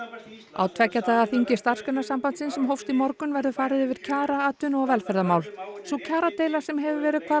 á tveggja daga þingi Starfsgreinasambandsins sem hófst í morgun verður farið yfir kjara atvinnu og velferðarmál sú kjaradeila sem hefur verið hvað